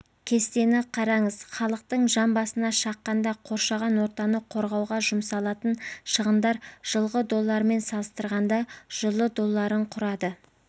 кестені қараңыз халықтың жан басына шаққанда қоршаған ортаны қорғауға жұмсалатын шығындар жылғы долларымен салыстырғанда жылы долларын құрады